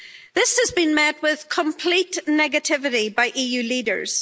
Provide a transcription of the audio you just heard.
This has been met with complete negativity by EU leaders.